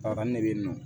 A ne bɛ yen nɔ